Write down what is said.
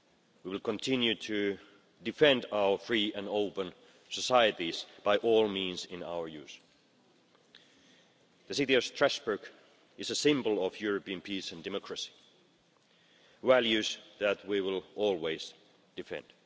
We will continue to defend our free and open societies by all means available to us. The city of Strasbourg is a symbol of European peace and democracy values that we will always defend.